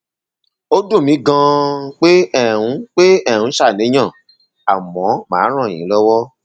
ó dùn mí ganan pé ẹ ń pé ẹ ń ṣàníyàn àmọ màá ràn yín lọwọ